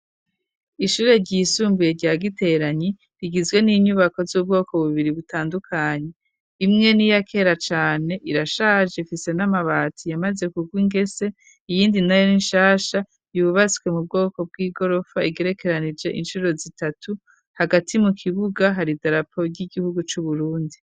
Ishure ryisumbuye rya Giteranyi, rigizwe n'inyubako z'ubwoko bubiri butandukanye, imwe n'iyakera cane irashaje ifise n'amabati yamaze kugwa ingese, iyindi nayo nishasha yubatswe mu bwoko bw'igorofa igerekeranije incuro zitatu, hagati mu kibuga hari idarapo ry'Igihugu cu Burundi.